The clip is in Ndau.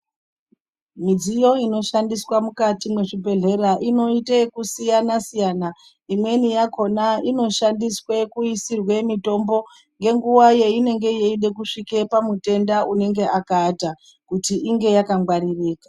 Midziyo inoshandiswa mukati mezvibhedhlera inoita kusiyana siyana imweni yakona inoshandiswa kuisirwa mitombo ngenguwa yainenge ichida kusvika pamutenda anenge akaata kuti inge yakangwaririka.